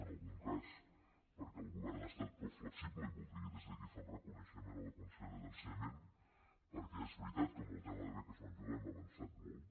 en algun cas perquè el govern ha estat prou flexible i voldria des d’aquí fer un reconeixement a la consellera d’ensenyament perquè és veritat que en el tema de beques menjador hem avançat molt